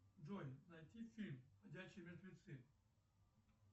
джой найти фильм ходячие мертвецы